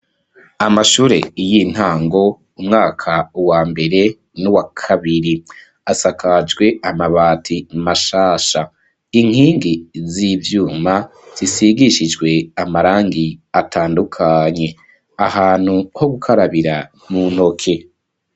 Amashure y'intango umwaka wa mbere n'uwakabiri asakajwe amabati mashasha inkingi z'ivyuma zisigishijwe amarangi atandukanye, ahantu ho gukarabira mu ntoke.